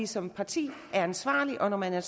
som parti ansvarlige og når man er